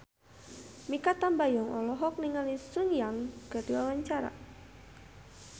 Mikha Tambayong olohok ningali Sun Yang keur diwawancara